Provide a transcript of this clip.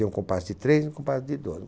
E um compasso de três e um compasso de dois